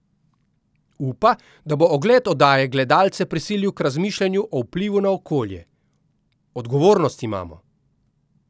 Upa, da bo ogled oddaje gledalce prisilil k razmišljanju o vplivu na okolje: ''Odgovornost imamo.